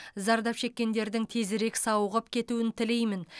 зардап шеккендердің тезірек сауығып кетуін тілеймін